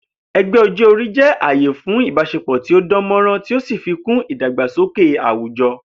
E̩gbé̩ o̩jó̩-orí jé̩ àyè fún ìbás̩epò̩ tí ó dán mó̩ràn tí ó sì fikún ìdàgbàsókè àwùjo̩